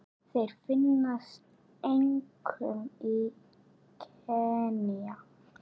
Þeir finnast einkum í Kenía.